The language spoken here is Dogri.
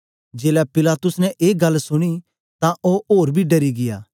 जेलै पिलातुस ने ए गल्ल सुनी तां ओ ओर बी डरी गीया